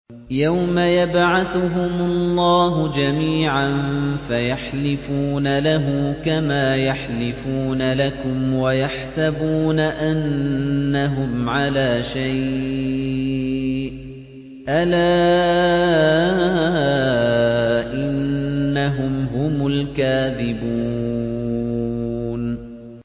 يَوْمَ يَبْعَثُهُمُ اللَّهُ جَمِيعًا فَيَحْلِفُونَ لَهُ كَمَا يَحْلِفُونَ لَكُمْ ۖ وَيَحْسَبُونَ أَنَّهُمْ عَلَىٰ شَيْءٍ ۚ أَلَا إِنَّهُمْ هُمُ الْكَاذِبُونَ